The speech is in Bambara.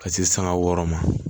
Ka se sanga wɔɔrɔ ma